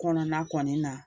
Kɔnɔna kɔni na